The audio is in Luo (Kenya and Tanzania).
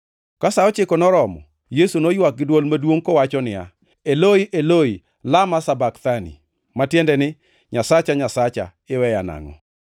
Ka sa ochiko noromo Yesu noywak gi dwol maduongʼ kowacho niya, \+wj “Eloi, Eloi, lama sabakthani?”\+wj* (ma tiende ni, “Nyasacha, Nyasacha, iweya nangʼo?”). + 15:34 \+xt Zab 22:1\+xt*